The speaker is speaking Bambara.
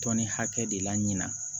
Tɔni hakɛ de la ɲina